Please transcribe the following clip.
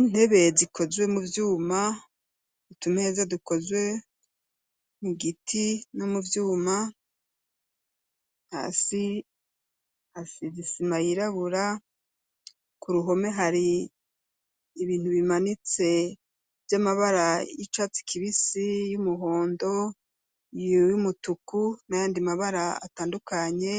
Intebe zikozwe mu vyuma itumeza dukozwe mu giti no muvyuma hasi hasize isima yirabura ku ruhome hari ibintu bimanitse vy'amabara y'icatsi kibisi y'umuhondo iy'umutuku na yandi mabara atandukanye